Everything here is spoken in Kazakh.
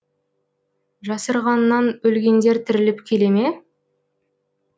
жасырғаннан өлгендер тіріліп келе ме